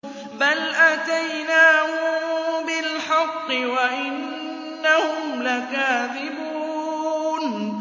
بَلْ أَتَيْنَاهُم بِالْحَقِّ وَإِنَّهُمْ لَكَاذِبُونَ